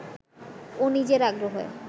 ও নিজের আগ্রহে